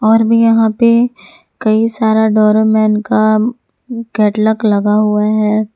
और मैं यहां पर कई सारा डोरेमोन का कैटलॉग लगा हुआ है।